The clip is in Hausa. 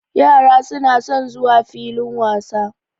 Yara suna son zuwa filin wasa.